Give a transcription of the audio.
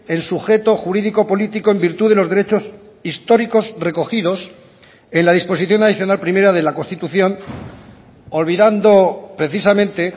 en sujeto jurídico político en virtud de los derechos históricos recogidos en la disposición adicional primera de la constitución olvidando precisamente